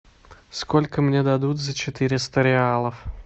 сколько мне дадут за четыреста реалов